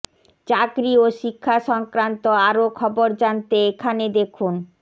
চাকরি ও শিক্ষা সংক্রান্ত আরও খবর জানতে এখানে দেখুন